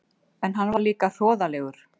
En hann var líka hroðalegur.